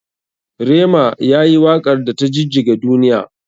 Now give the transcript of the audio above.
Rema yayi wakar da ta jijjiga duniya.